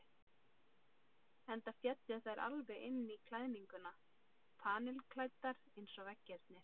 Enda féllu þær alveg inn í klæðninguna, panilklæddar eins og veggirnir.